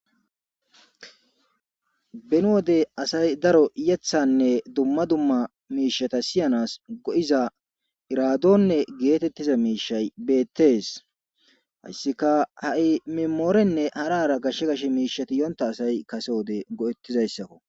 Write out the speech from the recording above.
ben wodey asay daro yethanne dumma dumma miishata siyanas go7iza iraadonne geetettiza miishay beettes hayssika ha7i mimoorenne harara gashshe gashe miishatiiyonta asay kase wode go7ettizayssakko